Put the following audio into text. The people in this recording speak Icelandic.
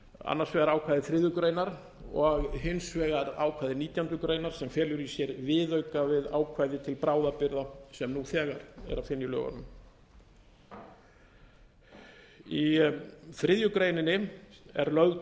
annars vegar ákvæði þriðju greinar og hins vegar ákvæði nítjánda grein sem felur í sér viðauka við ákvæði til bráðabirgða sem nú þegar er að finna í lögunum í þriðju grein er lagt